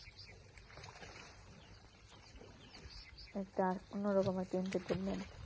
একটা অন্যরকম একটা entertainment